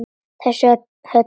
Þessa Höllu!